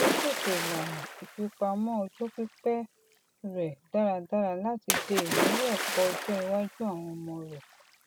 ó ṣètò ìlànà ìfipamọ ọjọ pípẹ rẹ dáradára láti de ìnáwó ẹkọ ọjọ iwájú àwọn ọmọ rẹ